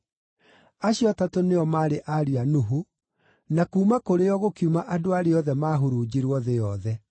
Acio atatũ nĩo maarĩ ariũ a Nuhu, na kuuma kũrĩ o gũkiuma andũ arĩa othe maahurunjirwo thĩ yothe.